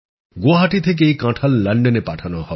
গুয়াহাটী থেকে এই কাঁঠাল লন্ডনে পাঠানো হবে